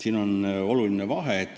Siin on oluline vahe.